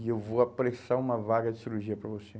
E eu vou apressar uma vaga de cirurgia para você.